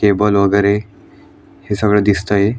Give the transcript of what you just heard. Table वेगेरे हे सगळ दिसतय.